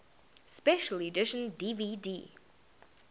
special edition dvd